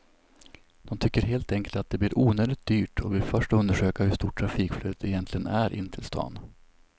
De tycker helt enkelt att det blir onödigt dyrt och vill först undersöka hur stort trafikflödet egentligen är in till stan.